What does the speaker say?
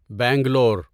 Bangalore